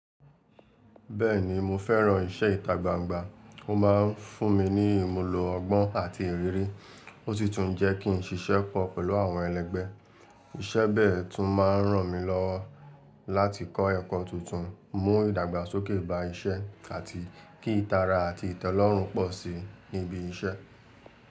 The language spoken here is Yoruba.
Bẹ́ẹ̀ni, mo fẹ́ran iṣẹ́ ìta gbangba. Ó ma ń fún mi ní ìmùlò ọgbọ́n àti ìrírí, ó sì tún jẹ́ kí n ṣiṣẹ́ pọ̀ pẹ̀lú àwọn ẹlẹ́gbẹ́. Iṣẹ́ bẹ́ẹ̀ tún máa ń ràn mí lọwo láti kọ́ ẹ̀kọ́ tuntun, mú ìdàgbàsókè bá iṣẹ́, àti kí ìtara àti ìtẹ́lọ́rùn pọ̀ sí i níbi iṣẹ́.